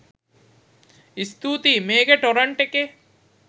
ස්තුතියි මේකේ ටොරන්ට් එකේ